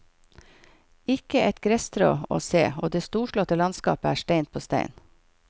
Ikke et gresstrå å se, og det storslåtte landskapet er stein på stein.